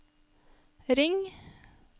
ring